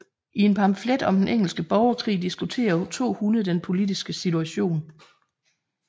I en pamflet om den engelske borgerkrig diskuterer to hunde den politiske situation